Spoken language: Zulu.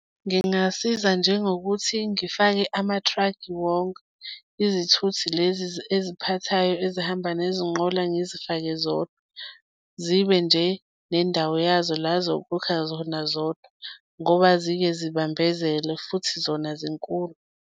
Ngingasiza njengokuthi ngifake ama-truck-i wonke, izithuthi lezi eziphathayo ezihamba nezinqola ngizifake zodwa, zibe nje nendawo yazo la zokukha zona zodwa ngoba zike zibambezele futhi zona zinkulu.